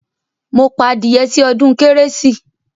Mo pa adìyẹ sí odún kérésì